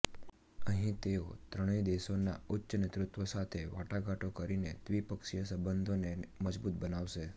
અહીં તેઓ ત્રણેય દેશોના ઉચ્ચ નેતૃત્વ સાથે વાટાઘાટો કરીને દ્વિપક્ષીય સંબંધોને મજબૂત બનાવશે